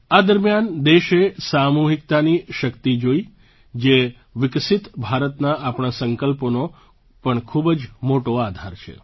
આ દરમિયાન દેશે સામૂહિકતાની શક્તિ જોઈ જે વિકસિત ભારતના આપણા સંકલ્પોનો પણ ખૂબ જ મોટો આધાર છે